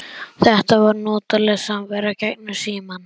Þetta var notaleg samvera gegnum símann.